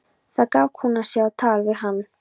Þar gaf kona sig á tal við hann.